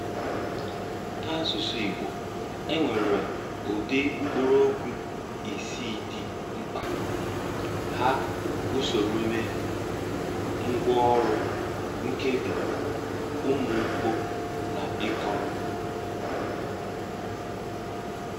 N’asụsụ Ìgbò, e nwere ụdị mkpụrụokwu isii dị mkpa: Áhá, Ùsòròomè, Ngwàọrụ, Nkèbí, Ùmụ́mkpọ́, na Ị́kọrọ.